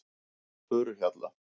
Furuhjalla